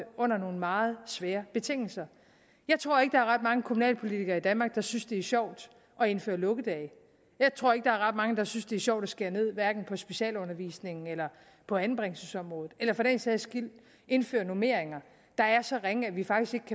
under nogle meget svære betingelser jeg tror ikke der er ret mange kommunalpolitikere i danmark der synes det er sjovt at indføre lukkedage jeg tror ikke der er ret mange der synes det er sjovt at skære ned på hverken specialundervisningen eller på anbringelsesområdet eller for den sags skyld at indføre normeringer der er så ringe at vi faktisk